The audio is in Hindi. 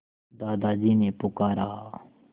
दादाजी ने पुकारा